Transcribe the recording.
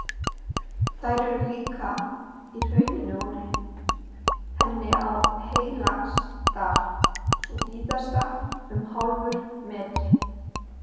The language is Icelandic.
Þær eru líka í hrauninu úr henni á Heilagsdal, sú víðasta um hálfur metri.